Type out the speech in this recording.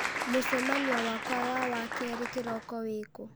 mũcemanio wakwa wa wakerĩ kĩroko wĩ kũ